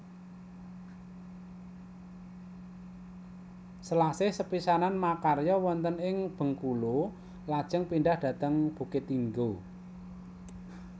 Selasih sepisanan makarya wonten ing Bengkulu lajeng pindhah dhateng Bukittinggo